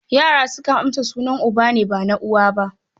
Yara sukan amsa sunan uba ne, ba na uwa ba.